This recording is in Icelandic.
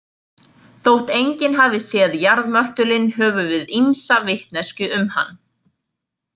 Þótt enginn hafi séð jarðmöttulinn höfum við ýmsa vitneskju um hann.